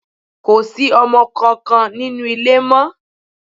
Kò sí ọmọ kankan nínú ilé mọ́.